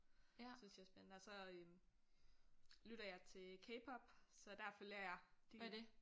Synes jeg er spændende og så øh lytter jeg til K-pop så der følger jeg de